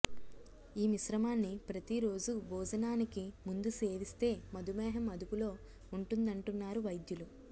ఈ మిశ్రమాన్ని ప్రతిరోజు భోజనానికి ముందు సేవిస్తే మధుమేహం అదుపులో ఉంటుందంటున్నారు వైద్యులు